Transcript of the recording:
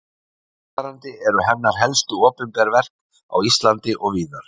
eftirfarandi eru hennar helstu opinber verk á íslandi og víðar